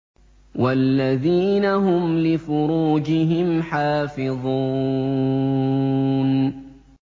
وَالَّذِينَ هُمْ لِفُرُوجِهِمْ حَافِظُونَ